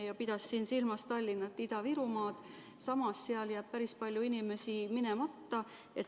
Ta pidas silmas Tallinna ja Ida-Virumaad, kus samas jätab päris palju inimesi vaktsineerima minemata.